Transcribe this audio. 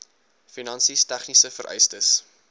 finansies tegniese vereistes